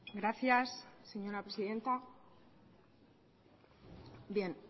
gracias señora presidenta